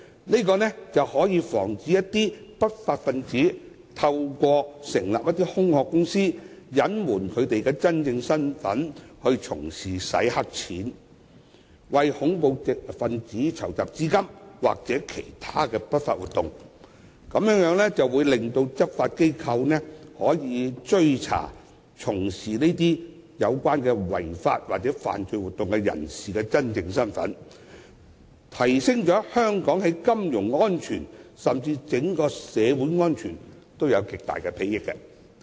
這做法可防止不法分子透過成立空殼公司，隱瞞其真正身份，以從事洗黑錢、為恐怖分子籌集資金或其他不法活動，讓執法機構可追查從事這類違法或犯罪活動的人的真正身份，在提升香港的金融安全之餘，對整體社會的安全也有極大裨益。